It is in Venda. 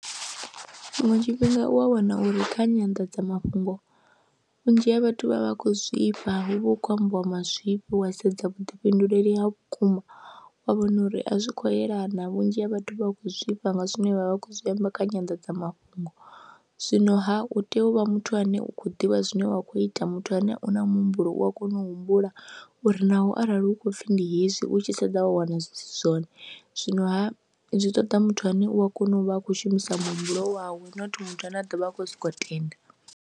Tshiṅwe tshifhinga u a wana uri kha nyandadzamafhungo vhunzhi ha vhathu vha vha vha khou zwifha, hu vha hu khou ambiwa mazwifhi wa sedza vhuḓifhinduleli ha vhukuma wa wana uri a zwi khou yelana, vhunzhi ha vhathu vha khou zwifha nga zwine vha vha vha khou zwi amba kha nyandadzamafhungo. Zwinoha u tea u vha muthu ane u khou ḓivha zwine wa khou ita muthu ane u na muhumbulo u a kona u humbula uri naho arali hu khou pfhi ndi hezwi u tshi sedza wa wana zwi si zwone, zwinoha zwi ṱoḓa muthu ane u a kona u vha a khou shumisa muhumbulo wawe not muthu ane a ḓo vha a khou sokou tenda.